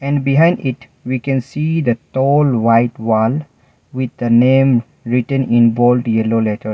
and behind it we can see the tall white wall with the name written in bold yellow letters.